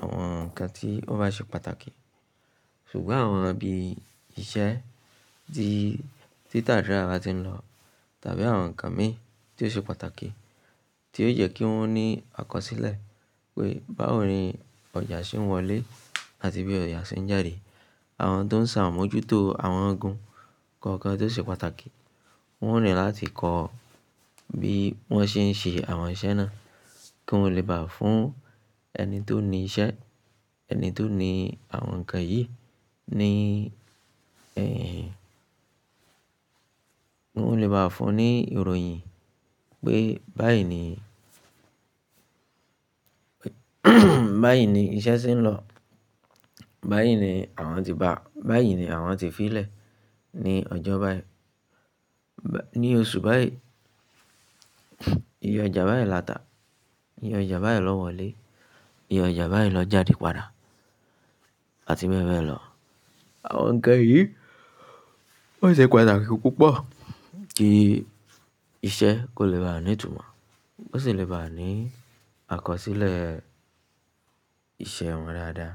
àwọn ǹkan tí ó bá ṣe pàtàkì. Ṣùgbọ́n àwọn ibi iṣẹ́ tí títà rírà bá ti ń lọ tàbí àwọn ǹkan mi tí ó ṣe pàtàkì, tí ó jẹ́ kí wọ́n ní àkọsílẹ̀ pé báwo ni ọjà ṣe ń wọlé àti bí ọjà ṣe ń jáde. Àwọn tó ń ṣàmójútó àwọn ogun kọ̀ọ̀kan tó ṣe pàtàkì, wọ́n ò ní láti kọ bí wọ́n ṣe ń ṣe àwọn iṣẹ́ náà kí wọ́n le bá fún ẹni tó ní iṣẹ́, ẹni tó ní àwọn ǹkan yìí ní, ẹ́, wọ́n lè bá a fún ní ìròyìn pé báyìí ni, báyìí ni iṣẹ́ ṣe ń lọ. Báyìí ni àwọn ti bá, báyìí ni àwọn ti fí i lẹ̀ ní ọjọ́ báyìí, ba, ní oṣù báyìí. Iye ọjà báyìí la ta, iye ọjà báyìí lo wọlé, iye ọjà báyìí lọ jáde padà àti bẹ́ẹ̀ bẹ́ẹ̀ lọ. Àwọn ǹkan yìí ó ṣe pàtàkì púpọ̀ kí iṣẹ́ kó lè bá a nítumọ̀. Ó sì lè bá a ní àkọsílẹ̀ ìṣe wọn dáadáa.